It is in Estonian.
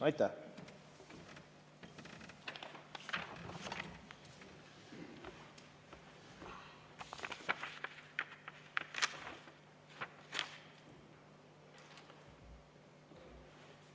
Aitäh!